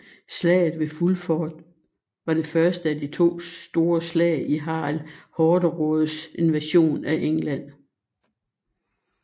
Slaget ved Fulford var det første af de to store slag i Harald Hårderådes invasion af England